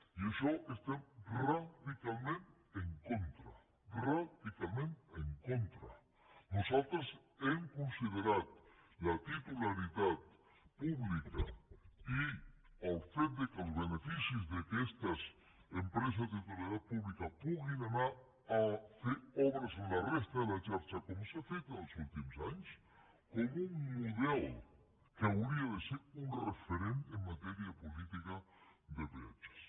i això hi estem radicalment en contra radicalment en contra nosaltres hem considerat la titularitat pública i el fet que els beneficis d’aquestes empreses de titularitat pública puguin anar a fer obres en la resta de la xarxa com s’ha fet en els últims anys com un model que hauria de ser un referent en matèria de política de peatges